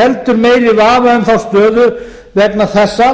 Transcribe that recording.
heldur meiri vafa um þá stöðu vegna þessa